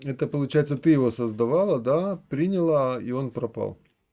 это получается ты его создавала да приняла и он пропал